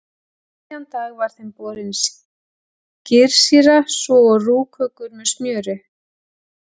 Um miðjan dag var þeim borin skyrsýra svo og rúg kökur með smjöri.